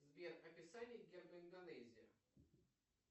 сбер описание герба индонезия